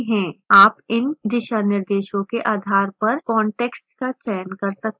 आप इन दिशानिर्देशों के आधार पर context का चयन कर सकते हैं